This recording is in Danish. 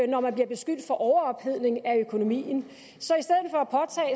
når man bliver beskyldt for overophedning af økonomien